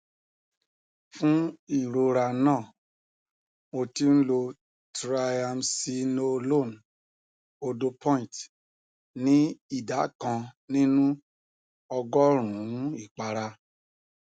fún ìrora náà mo ti ń lo triamcinolone òdopoint ní ìdá kan nínú ọgọrùnún ìpara